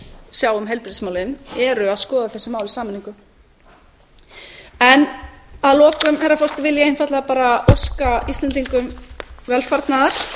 sjá um heilbrigðismálin eru að skoða þessi mál í sameiningu að lokum herra forseti vil ég einfaldlega bara óska íslendingum velfarnaðar